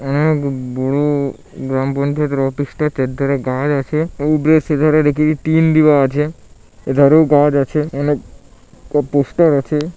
অনেক বড়ো-ও গ্রাম পঞ্চায়েতের অফিসটা চারধারে গাছ আছে ওপরে সিধারে দেখিঠি টিন দিবা আছে এধারেও গাছ আছে অনেক ও পোস্টার আছে।